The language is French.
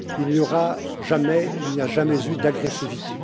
Il n'y aura jamais et il n'y a jamais eu d'agressivité.